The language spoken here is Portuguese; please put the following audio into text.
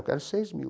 Eu quero seis mil.